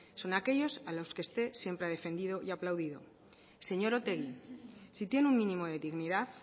son aquellos a los usted siempre ha defendido y aplaudido señor otegi si tiene un mínimo de dignidad